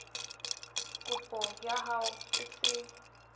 kopo ya hao e se